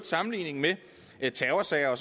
sammenligningen med terrorsager